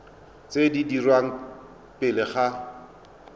tse di dirwang pele ga